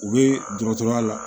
U bɛ dɔgɔtɔrɔya la